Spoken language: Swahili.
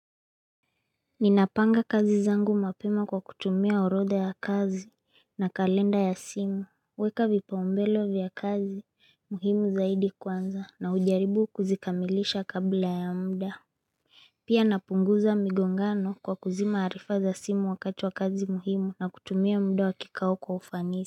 Ninapanga kazi zangu mapema kwa kutumia orodha ya kazi na kalenda ya simu Weka vipaumbele vya kazi muhimu zaidi kwanza na ujaribu kuzikamilisha kabla ya muda Pia napunguza migongano kwa kuzima arifa za simu wakati wa kazi muhimu na kutumia muda wa kikao kwa ufanisi.